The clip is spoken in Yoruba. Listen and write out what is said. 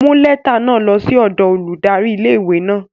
Mu lẹta náa lo si odo óludari ìlé-ìwé náa!